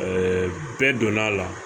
bɛɛ donn'a la